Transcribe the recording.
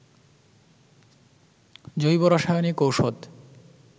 জৈব রাসায়নিক ঔষধ